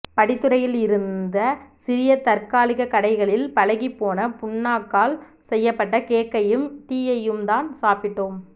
படித்துறையில் இருந்த சிறிய தற்காலிகக்கடைகளில் பழகிப்போன புண்ணாக்கால் செய்யப்பட்ட கேக்கையும் டீயையும்தான் சாப்பிட்டோம்